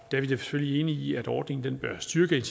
da selvfølgelig enige i at ordningen bør styrke